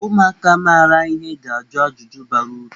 Ụmụaka maara ihe ga-ajụ ajụjụ bara uru.